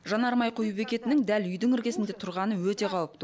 жанармай құю бекетінің дәл үйдің іргесінде тұрғаны өте қауіпті